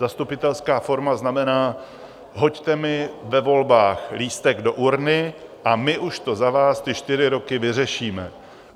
Zastupitelská forma znamená: hoďte mi ve volbách lístek do urny a my už to za vás ty čtyři roky vyřešíme.